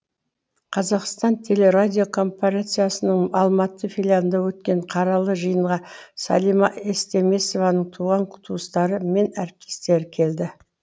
қазақстан телерадиокомпарациясының алматы филиалында өткен қаралы жиынға сәлима естемесованың туған туыстары мен әріптестері келді